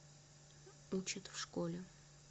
учат в школе